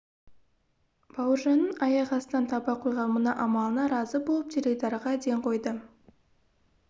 бауыржанның аяқ астынан таба қойған мына амалына разы болып теледидарға ден қойды